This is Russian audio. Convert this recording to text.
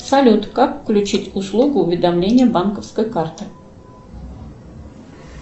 салют как включить услугу уведомление банковской карты